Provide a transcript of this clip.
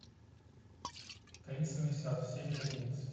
таинственный сад серия одиннадцать